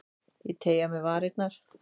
Ég teygi á mér varirnar.